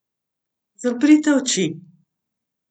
Zaprite oči!